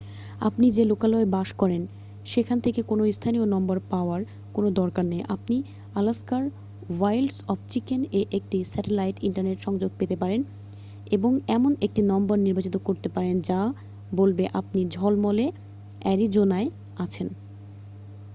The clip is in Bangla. আপনি যে লোকালয়ে বাস করেন সেখান থেকে কোনও স্থানীয় নম্বর পাওয়ার কোনও দরকার নেই আপনি আলাস্কার ওয়াইল্ডস অফ চিকেন'-এ একটি স্যাটেলাইট ইন্টারনেট সংযোগ পেতে পারেন এবং এমন একটি নম্বর নির্বাচিত করতে পারেন যা বলবে আপনি ঝলমলে অ্যারিজোনায় আছেন